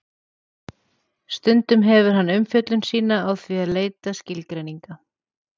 Stundum hefur hann umfjöllun sína á því að leita skilgreininga.